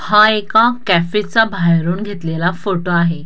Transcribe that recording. हा एका कॅफे चा बाहेरून घेतलेला फोटो आहे.